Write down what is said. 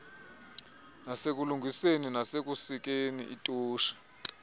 nasekulungiseni nasekusikeni itotshi